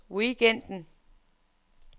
weekenden